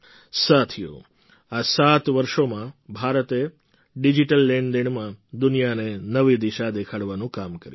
સાથીઓ આ સાત વર્ષોમાં ભારતે ડિજિટલ લેણદેણમાં દુનિયાને નવી દિશા દેખાડવાનું કામ કર્યું છે